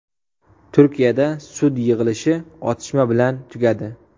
Turkiyada sud yig‘ilishi otishma bilan tugadi.